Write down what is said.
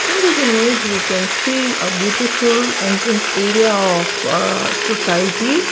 In this image we can see a beautiful entry area of umm society.